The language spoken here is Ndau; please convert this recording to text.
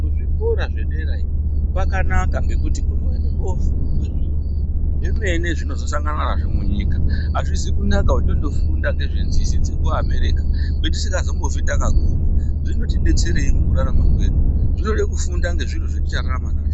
Kuzvikora zvedera iyo kwakanaka ngekuti kunoende kofundwa zviro zvemene zvinozosanganwa nazvo munyika, azvizi kunaka kuti tondofunda nezvenzizi dzekuabereka kwetisingazombofi takaguma, zvinotibetserei mukurarama kwedu, zvinode kufunda ngezviro zvetichararama nazvo.